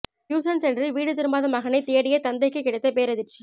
tuition சென்று வீடு திரும்பாத மகனை தேடிய தந்தைக்கு கிடைத்த பேரதிர்ச்சி